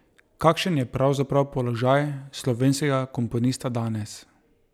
Kakšen je pravzaprav položaj slovenskega komponista danes?